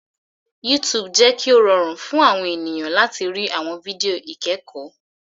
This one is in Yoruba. YouTube jẹ kí o rọrùn fún àwọn ènìyàn láti rí àwọn fídíò ikẹkọ.